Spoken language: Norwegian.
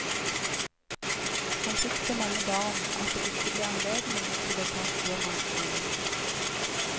Han fikk så mange barn at det ikke ble anledning til å ta styrmannsskolen.